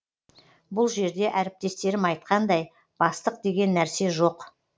бұл жерде әріптестерім айтқандай бастық деген нәрсе жоқ